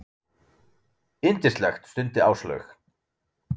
Yndislegt stundi Áslaug.